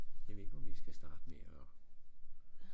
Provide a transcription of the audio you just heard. Jeg ved ikke om vi skal starte med og